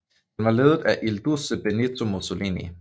Den var ledet af il Duce Benito Mussolini